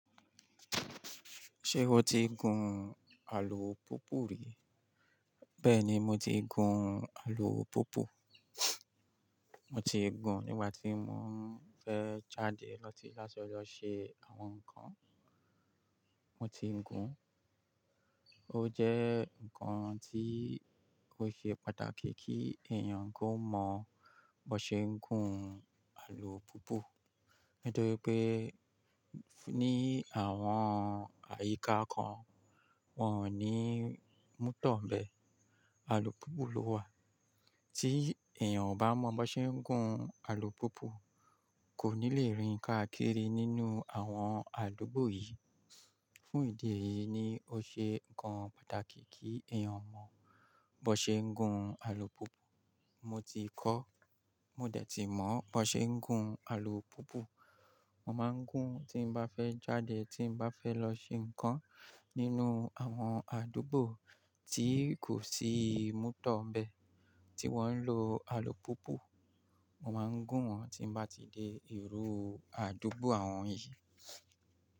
Ṣé o ti gun alùpùpù rí? Bẹ́ẹ̀ni, mo ti gun alùpùpù. Mo ti gun nígbà tí mo ń fẹ́ jáde láti lọ ṣe àwọn nǹkan. Mo ti ń gun. Ó jẹ́ nǹkan tí ó ṣe pàtàkì kí èèyàn kó mọ bó ṣe ń gun alùpùpù. Nítorí pé ní àwọn àyíká kan, wọ́n ò ní mótò nbẹ, alùpùpù ló wà. Tí èèyàn ò bá mọ bi won ṣe ń gun alùpùpù, kò ní lè rìn káàkiri nínú àwọn àdúgbò yìí. Fún ìdí èyí ni ó ṣe nǹkan pàtàkì kí èèyàn mọ bó ṣe ń gun alùpùpù. Mo ti kọ́, mo dẹ̀ ti mọ ba ṣe ń gun alùpùpù. Mo máa ń gun tí mo bá fẹ́ jáde, tí mo bá fẹ́ lọ ṣe nǹkan nínú àwọn àdúgbò tí kò sí mótò nbẹ tí wọ́n ń lo alùpùpù. Mo máa ń gùn wọ́n tí mo bá ti dé ìlú àdúgbò àwọn yìí.